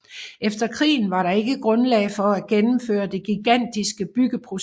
Efter krigen var der ikke grundlag for gennemføre det gigantiske byggeprojekt